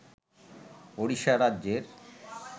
ওড়িশা রাজ্যের